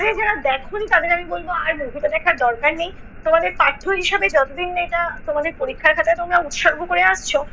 যারা দেখোনি তাদের আমি বলবো, আর movie টা দেখার দরকার নেই। তোমাদের পাঠ্য হিসাবে যতোদিন না এটা তোমাদের পরীক্ষার খাতায় তোমরা উৎসর্গ করে আসছো।